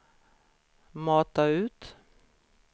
mata ut